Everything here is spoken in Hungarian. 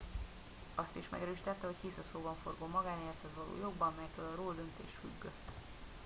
azt is megerősítette hogy hisz a szóbanforgó magánélethez való jogban melytől a roe döntés függött